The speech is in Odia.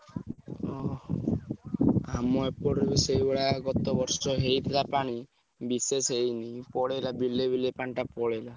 ଓହୋ! ଆମ ଏପଟରେ ବି ସେଇଭଳିଆ ଗତ ବର୍ଷ ହେଇଥିଲା ପାଣି ବିଶେଷ ହେଇନି ପଳେଇଲା ବିଲେ ବିଲେ ପାଣିଟା ପଳେଇଲା।